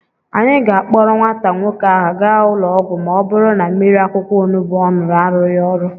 Anyị ga-akpọrọ nwata nwoke ahụ gaa ụlọ ọgwụ ma ọ bụrụ na mmiri akwukwọ onubu ọ ṅụrụ arụghị ọrụ.